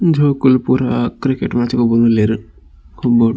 ಜೋಕುಲು ಪೂರ cricket match ಗೊಬ್ಬೊಂದುಲ್ಲೆರ್.